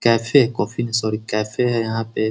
Cafe coffee sorry cafe हैं यहाँ पे।